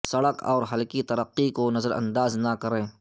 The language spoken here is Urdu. سڑک اور ہلکی ترقی کو نظر انداز نہ کریں